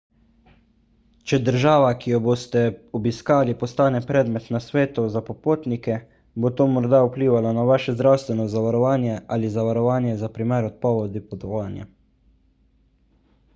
če država ki jo boste obiskali postane predmet nasvetov za popotnike bo to morda vplivalo na vaše zdravstveno zavarovanje ali zavarovanje za primer odpovedi potovanja